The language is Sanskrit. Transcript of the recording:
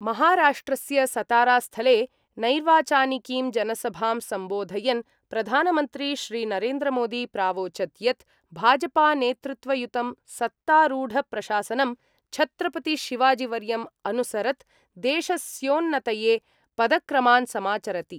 महाराष्ट्रस्य सतारा-स्थले नैर्वाचानिकीं जनसभां सम्बोधयन् प्रधानमन्त्री श्रीनरेन्द्रमोदी प्रावोचद् यत् भाजपा-नेतृत्वयुतं सत्तारूढप्रशासनं छत्रपति शिवाजीवर्यम् अनुसरत् देशस्योन्नतये पदक्रमान् समाचरति।